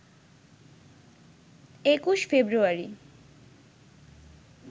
২১ ফেব্রুয়ারি